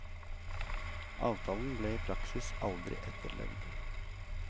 Avtalen ble i praksis aldri etterlevd.